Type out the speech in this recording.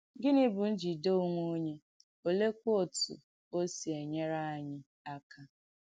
Gịnì bù ǹjìdè ònwè onyè, olèekwà òtú ò sì ènyèrè ànyị̣ àka?